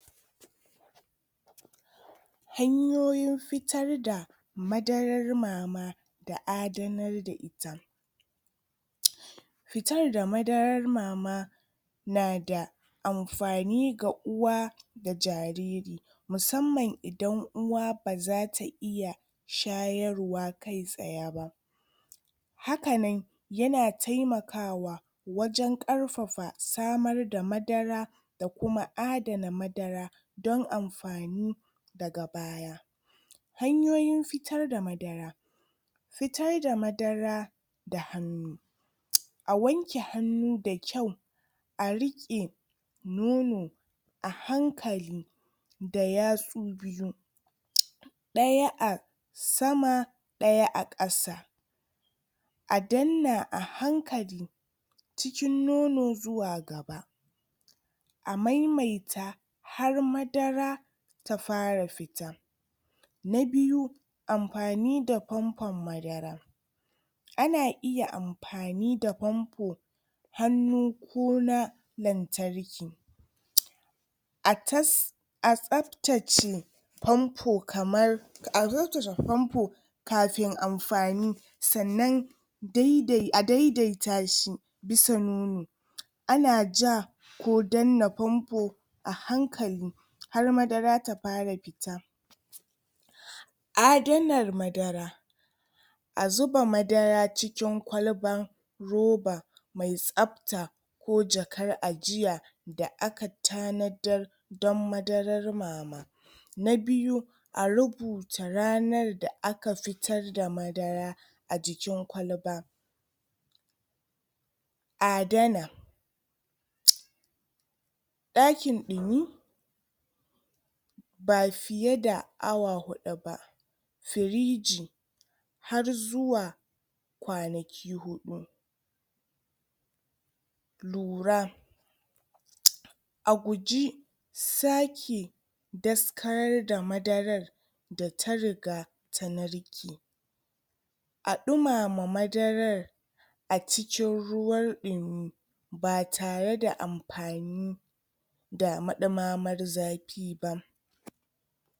Hanyoyin fitar da madarar mama da adanar da ita fitar da madarar mama na da amfani ga uwa da jariri. Musamman idan uwa baza ta iya shayarwa kai tsaye hakanan ya na taimakawa wajen ƙarfafa samar da madara da kuma adana madara don amfani da gaba. Hanyoyin fitar da madara fitar da madara da a wanke hannu da kyau a riƙe nono a hankali da yatsu biyu ɗaya a sama ɗaya a ƙasa a dannan a hankali cikin nono zuwa gaba a maimaita har madara ta fara fita. Na biyu, Amfani da famfon madara ana iya amfani da famfo hannu ko na lantarki. A tas a tsaftace famfo kamar kafin amfani sannan dai dai a dai dai ta shi bisa nono ana ja ko danna famfo a hankali har madara ta fara fita. Adanar madara a zuba madara cikin kwalban roba mai tsafta, ko jakar ajiya, da aka tanadar don madarar mama na biyu, a rubuta ranar da aka fitar da madara a jikin kwalba, adana ɗakin ɗumi ba fiye da awa huɗu firiji har zuwa ƙwanaki huɗu lura a guji sake daskarar da madarar da ta riga ta narke a ɗumama madarar a cikin ruwar ɗumi ba tare da amfani da maɗumamar zafi ba